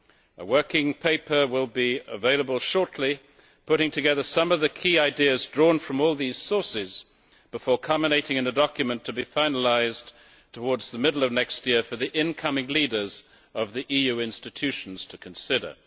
A working paper will be available shortly putting together some of the key ideas drawn from all these sources, before culminating in a document to be finalised towards the middle of next year, for the incoming leaders of the EU institutions to consider.